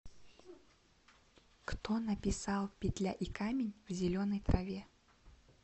кто написал петля и камень в зеленой траве